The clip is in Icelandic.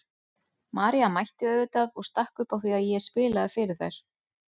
María mætti auðvitað og stakk upp á því að ég spilaði fyrir þær.